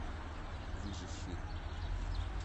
выживший